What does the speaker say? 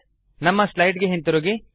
ನಮ್ಮ ಸ್ಲೈಡ್ ಗೆ ಹಿಂತಿರುಗಿ